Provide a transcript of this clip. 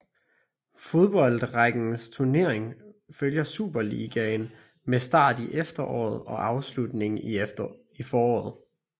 Fodboldrækkens turnering følger Superligaen med start i efteråret og afslutning i foråret